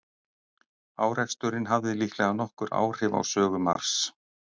Áreksturinn hafði líklega nokkur áhrif á sögu Mars.